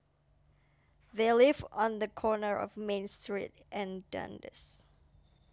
They live on the corner of Main Street and Dundas